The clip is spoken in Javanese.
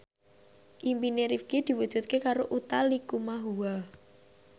impine Rifqi diwujudke karo Utha Likumahua